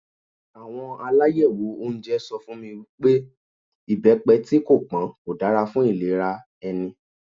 Àwọn alayewo oúnjẹ sọ fún mi pé ibepe tí kò pọn kò dára fún ìlera ẹni.